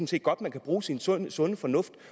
set godt man kan bruge sin sunde sunde fornuft